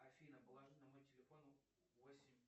афина положи на мой телефон восемь